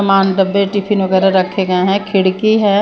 डब्बे टिफिन वगैरह रखे गए हैं खिड़की है।